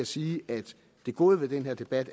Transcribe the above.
sige at det gode ved den her debat